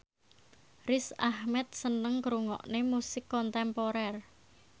Riz Ahmed seneng ngrungokne musik kontemporer